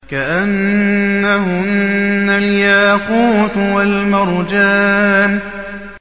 كَأَنَّهُنَّ الْيَاقُوتُ وَالْمَرْجَانُ